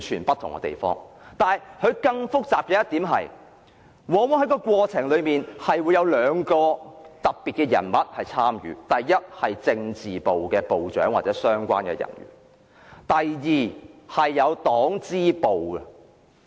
不過，更複雜的一點，是這過程往往有兩類特別人士參與：第一，是政治部部長或相關人員，以及第二，黨支部人員。